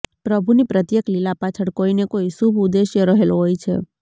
પ્રભુની પ્રત્યેક લીલા પાછળ કોઈ ને કોઈ શુભ ઉદ્દેશ્ય રહેલો હોય છે